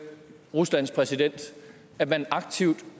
ruslands præsident at man aktivt